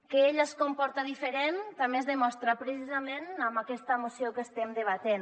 que ella es comporta diferent també es demostra precisament amb aquesta moció que estem debatent